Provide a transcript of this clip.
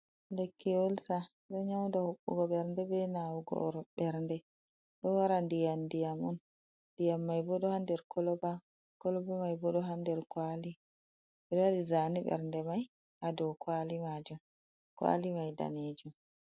Lekki olsa, ɗo nyauda huɓɓugo ɓernde, be nawugo ɓernde, ɗo wara ndiyam-ndiyam on, ndiyam mai bo ɗo haa nder koloba, koloba mai bo ɗo haa nder kwali, ɓewaɗi zane ɓernde mai haa dow kwali majum. Kwali mai danejum.